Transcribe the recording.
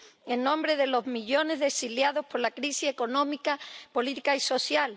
en nombre de los millones de exiliados por la crisis económica, política y social